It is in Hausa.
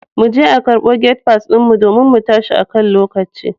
Muje a karbo gate pass din mu domin mu tashi akan lokaci.